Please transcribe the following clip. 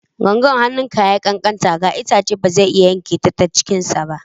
Gangan hannunka ya yi ƙanƙanta ga itace, ba zai iya yanke ta cikinsa ba.